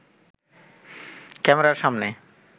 ক্যামেরার সামনে